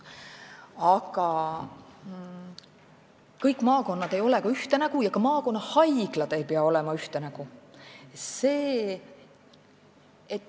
Aga kõik maakonnad ei ole ühte nägu ja ka maakonnahaiglad ei pea olema ühte nägu.